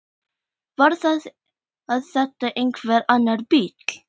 Var þetta einhver annar bíll?